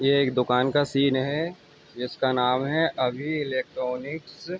ये एक दुकान का सीन है। जिसका नाम है अभी इलेक्ट्रॉनिक्स ।